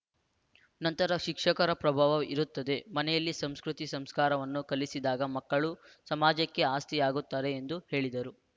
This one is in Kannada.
ನಂತರ ಶಿಕ್ಷಕರ ಪ್ರಭಾವ ಇರುತ್ತದೆ ಮನೆಯಲ್ಲಿ ಸಂಸ್ಕೃತಿ ಸಂಸ್ಕಾರವನ್ನು ಕಲಿಸಿದಾಗ ಮಕ್ಕಳು ಸಮಾಜಕ್ಕೆ ಆಸ್ತಿಯಾಗುತ್ತಾರೆ ಎಂದು ಹೇಳಿದರು